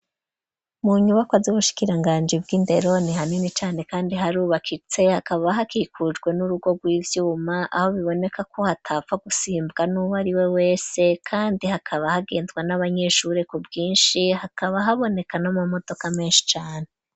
Mu nyubakwa, z'ubushikiranganji bw'indero, ni hanini cane, kandi harubakitse; hakaba hakikujwe, n'urugo rw'ivyuma; aho biboneka ko, hatapfa gusimbwa n'uwo ari we wese; kandi hakaba, hagendwa n'abanyeshure, ku bwinshi; hakaba haboneka, n'amamodoka menshi cane.